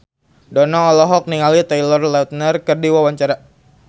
Dono olohok ningali Taylor Lautner keur diwawancara